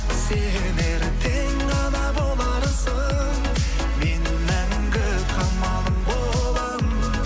сен ертең ана боларсың мен мәңгі қамалың боламын